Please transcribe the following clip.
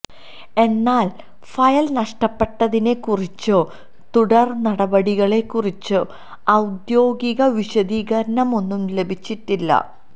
എന്നാല് ഫയല് നഷ്ടപ്പെട്ടതിനെ കുറിച്ചോ തുടര് നടപടികളെക്കുറിച്ചോ ഔദ്യോഗിക വിശദീകരണമൊന്നും ലഭിച്ചിട്ടില്ല